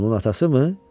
Onun atası mı?